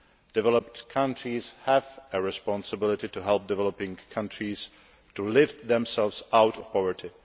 Developed countries have a responsibility to help developing countries to lift themselves out of poverty.